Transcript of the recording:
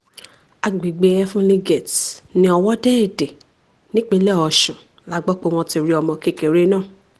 àgbègbè heavenly gate ní ọwọ́de-èdè nípínlẹ̀ ọ̀sùn la gbọ́ pé wọ́n ti rí ọmọ kékeré náà